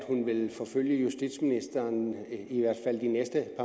at hun vil forfølge justitsministeren i i at